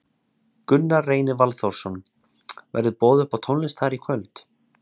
Gunnar Reynir Valþórsson: Verður boðið upp á tónlist þar í kvöld?